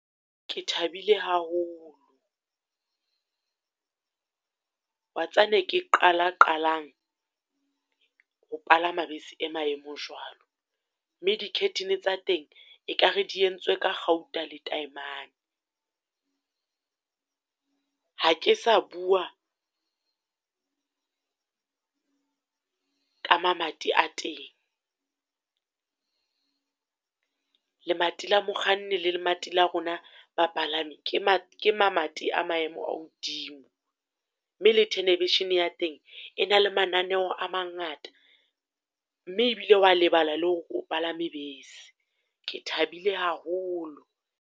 Ke thabile haholo, wa tseba ne ke qala qalang ho palama bese e maemo jwal Mme di-curtain tsa teng e kare di entswe ka kgauta le taemane. Ha ke sa bua ka mamati a teng, lemati la mokganni le lemati la rona bapalami, ke ma ke mamati a maemo a hodimo. Mme le tenevision-e ya teng, e na le mananeo a mangata, mme e bile o wa lebala la hore o palame bese. Ke thabile haholo.